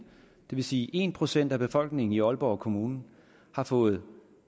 vil sige at en procent af befolkningen i aalborg kommune har fået